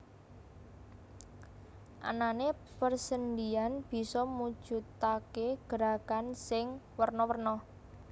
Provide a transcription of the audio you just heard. Anané persendhian bisa mujudaké gerakan sing werna werna